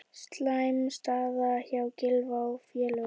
Slæm staða hjá Gylfa og félögum